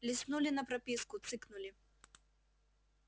листнули на прописку цыкнули